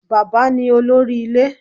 Bàbá ní olórí ilé